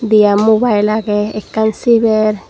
yan mubayil agey ekkan siber.